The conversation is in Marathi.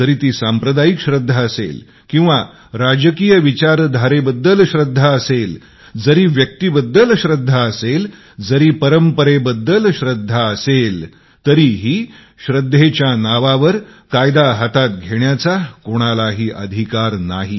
जरी ती सांप्रदायिक आस्था असेल किंवा राजनैतिक विचारधारेबद्दल आस्था असेल जरी व्यक्तीबद्दल आस्था असेल जरी परंपरेबद्दल आस्था असेल आस्थेच्या नावावर कायदा हातात घेण्याचा कोणालाही अधिकार नाही